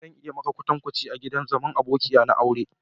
Zan iya yi maka kwatanci ka yi zama a'gidan abokiya ta a'Akure.